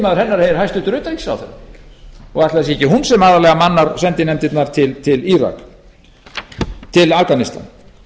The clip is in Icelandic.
hennar er hæstvirtur utanríkisráðherra ætli það sé ekki hún sem aðallega mannar sendinefndirnar til afganistan